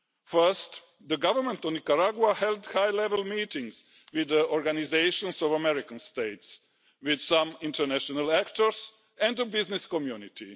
First, the Government of Nicaragua held high level meetings with the Organisation of American States, with some international actors and the business community.